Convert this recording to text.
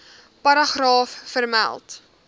paragraaf vermeld